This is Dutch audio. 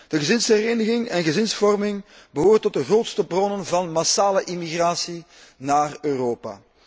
De gezinshereniging en gezinsvorming behoren tot de grootste bronnen van massale immigratie in Europa.